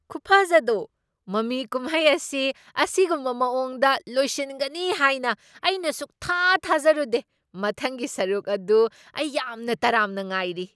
ꯈꯨꯐꯖꯗꯣ! ꯃꯃꯤ ꯀꯨꯝꯍꯩ ꯑꯁꯤ ꯑꯁꯤꯒꯨꯝꯕ ꯃꯑꯣꯡꯗ ꯂꯣꯏꯁꯤꯟꯒꯅꯤ ꯍꯥꯏꯅ ꯑꯩꯅ ꯁꯨꯡꯊꯥ ꯊꯥꯖꯔꯨꯗꯦ꯫ ꯃꯊꯪꯒꯤ ꯁꯔꯨꯛ ꯑꯗꯨ ꯑꯩ ꯌꯥꯝꯅ ꯇꯔꯥꯝꯅ ꯉꯥꯏꯔꯤ꯫